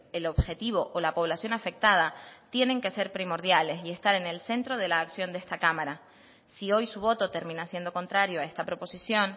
el objetivo o la población afectada tienen que ser primordiales y estar en el centro de la acción de esta cámara si hoy su voto termina siendo contrario a esta proposición